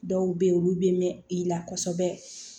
Dɔw bɛ yen olu bɛ mɛn i la kosɛbɛ